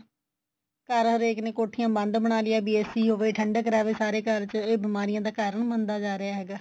ਘਰ ਹਰੇਕ ਨੇ ਕੋਠੀਆ ਬੰਦ ਬਣਾ ਲਿਆ ਬੀ AC ਹੋਵੇ ਠੰਡਕ ਰਵੇ ਸਾਰੇ ਘਰ ਚ ਇਹ ਬੀਮਾਰਿਆ ਦਾ ਕਰਨ ਬਣਦਾ ਜਾ ਰਿਹਾ ਹੈਗਾ